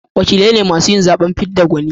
wakilai ne masu yin zaben fidda gwani